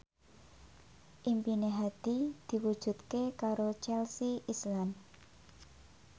impine Hadi diwujudke karo Chelsea Islan